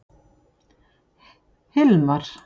Hilmar